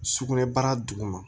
Sugunɛbara duguma